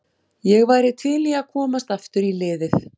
Ég væri til í að komast aftur í liðið.